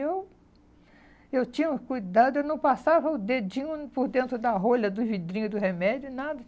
Eu... Eu tinha um cuidado, eu não passava o dedinho por dentro da rolha do vidrinho do remédio, nada.